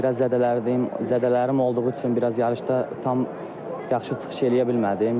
Bir az zədələndim, zədələrim olduğu üçün biraz yarışda tam yaxşı çıxış eləyə bilmədim.